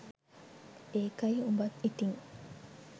ඒකයි උබත් ඉතින්